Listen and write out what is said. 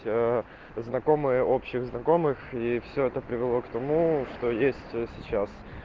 ээ знакомые общих знакомых и все это привело к тому что есть сейчас